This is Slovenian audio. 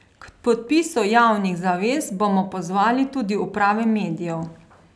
K podpisu javnih zavez bomo pozvali tudi uprave medijev.